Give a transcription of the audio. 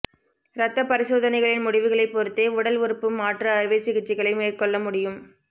இந்த பரிசோதனைகளின் முடிவுகளைப் பொறுத்தே உடல் உறுப்பு மாற்று அறுவை சிகிச்சைகளை மேற்கொள்ள முடியும்